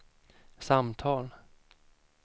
samtal